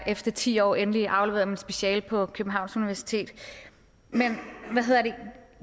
efter ti år endelig afleverede mit speciale på københavns universitet men